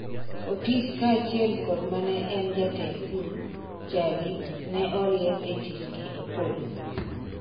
Otis kaachiel kod mane en jatend pur, Chali ne oriemb e tich gii Opollo